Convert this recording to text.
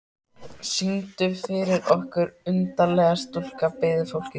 Syngdu fyrir okkur undarlega stúlka, biður fólkið.